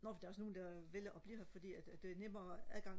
nå fordi der er også nogen der vælger og blive her fordi at der er nemmere adgang